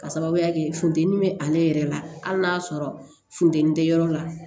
Ka sababuya kɛ funtɛni bɛ ale yɛrɛ la hali n'a y'a sɔrɔ funteni tɛ yɔrɔ la